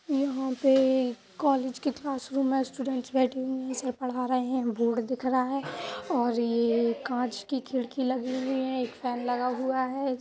यहाँ पे कॉलेज के क्लास रूम में सर पढ़ा रहे हैं। बो बोर्ड दिख रहा है और यह कांच की खिड़की लगी हुई है एक फैन लगा हुआ है।